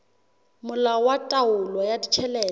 molao wa taolo ya ditjhelete